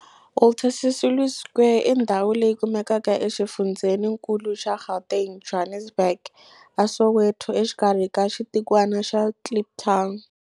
Walter Sisulu Square i ndhawu leyi kumekaka exifundzheni-nkulu xa Gauteng, Johannesburg, a Soweto, exikarhi ka xitikwana xa Kliptown.